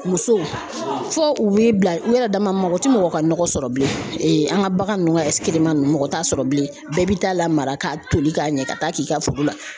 Muso fo u b'i bila u yɛrɛ dama ma mɔgɔ ti mɔgɔ ka nɔgɔ sɔrɔ bilen an ka bagan nunnu ka ninnu mɔgɔ t'a sɔrɔ bilen bɛɛ bi taa lamara k'a toli k'a ɲɛ ka taa k'i ka foro la